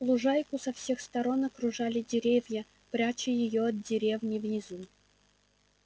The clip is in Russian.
лужайку со всех сторон окружали деревья пряча её от деревни внизу